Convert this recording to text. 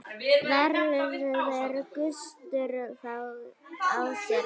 Verður gustur á þér þar?